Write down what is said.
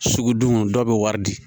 Sugudon dɔw bɛ wari di